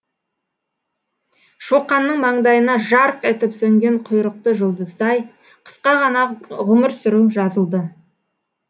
шоқанның маңдайына жарқ етіп сөнген құйрықты жұлдыздай қысқа ғана ғұмыр сүру жазылды